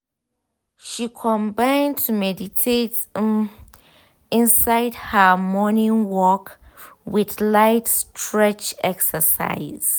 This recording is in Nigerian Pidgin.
she combin to meditate um inside her um morning work with light stretch exercises.